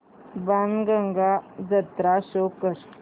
बाणगंगा जत्रा शो कर